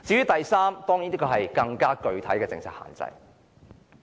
第三點關乎一項更具體的政策限制。